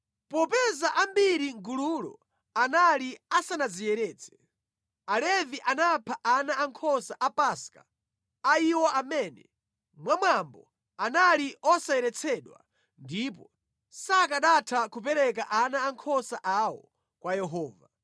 Popeza ambiri mʼgululo anali asanadziyeretse, Alevi anapha ana ankhosa a Paska a iwo amene, mwa mwambo, anali osayeretsedwa ndipo sakanatha kupereka ana ankhosa awo kwa Yehova.